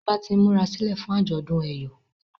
Ọba t'in murasilẹ fún ajọdun eyọ